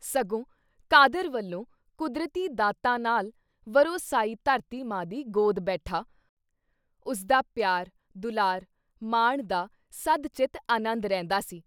ਸਗੋਂ ਕਾਦਰ ਵਲੋਂ ਕੁਦਰਤੀ ਦਾਤਾਂ ਨਾਲ ਵਰੋਸਾਈ ਧਰਤੀ ਮਾਂ ਦੀ ਗੋਦ ਬੈਠਾ, ਉਸਦਾ ਪਿਆਰ, ਦੁਲਾਰ ਮਾਣਦਾ ਸਦ-ਚਿੱਤ ਅਨੰਦ ਰਹਿੰਦਾ ਸੀ I